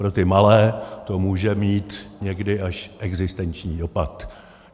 Pro ty malé to může mít někdy až existenční dopad.